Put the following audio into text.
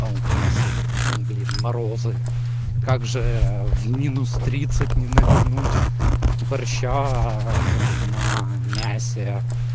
а у нас ну блин морозы как же в минус тридцать не навернуть борща на мясе